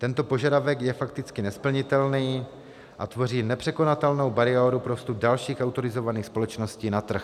Tento požadavek je fakticky nesplnitelný a tvoří nepřekonatelnou bariéru pro vstup dalších autorizovaných společností na trh.